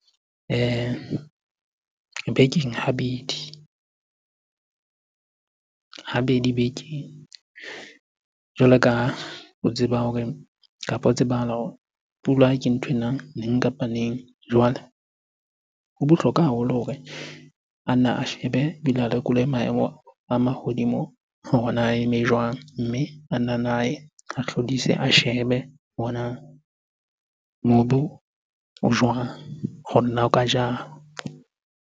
Bekeng habedi, habedi bekeng. Jwalo ka ha o tseba hore, kapo ho tsebahala pula ke ntho e nang neng kapa neng. Jwale, ho bohlokwa haholo hore a nna a shebe ebile a lekole maemo a mahodimo hore na a eme jwang? Mme ana nna a ye, a hlodise, a shebe hore na mobu o jwang hore na o ka jala?